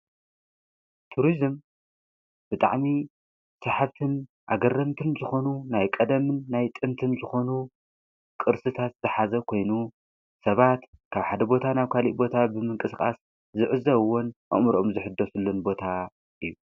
ቱርስም ብጥዕሚ ሰሓብትን ኣገረንትን ዝኾኑ ናይ ቀደምን ናይ ጥንትን ዝኾኑ ቕርስታት ዝተሓዘ ኮይኑ ሰባት ካብ ሓደ ቦታ ናብ ካልእ ቦታ ብምንቅስቃስ ዝዕዘውወን ኣምሮኦም ዝሕዶሱሉን ቦታ እዩ።